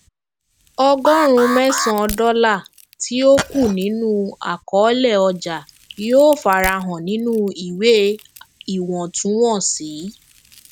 ọgọrùn mẹsan dọlà tí ó kù nínú àkọolé ọjà yóò fara hàn nínú ìwé iwọntúnwọnsì